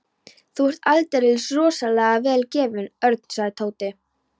Þú er aldeilis rosalega vel gefinn, Örn sagði Tóti.